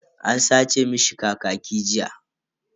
An sace mishi kakaki jiya.